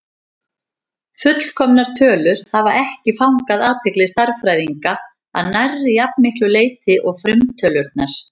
Fullkomnar tölur hafa ekki fangað athygli stærðfræðinga að nærri jafn miklu leyti og frumtölurnar.